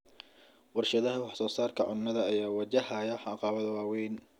Warshadaha wax-soo-saarka cunnada ayaa wajahaya caqabado waaweyn.